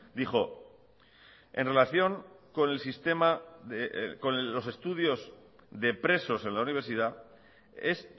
dijo en relación con el sistema con los estudios de presos en la universidad es